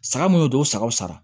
Saga mun y'o don o sagaw sara